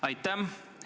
Aitäh!